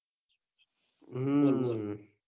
હમ